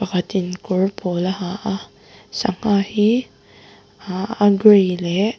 pakhatin kawr pawl a ha a sangha hi aa a grey leh--